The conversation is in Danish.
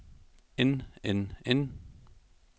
end end end